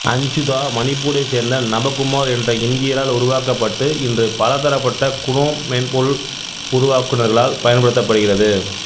அஞ்சுதா மணிப்பூரை சேர்ந்த நபகுமார் என்ற இந்தியரால் உருவாக்கப்பட்டு இன்று பலதரப்பட்ட குனோம் மென்பொருள் உருவாக்குனர்களால் பயன்படுத்தப்படுகிறது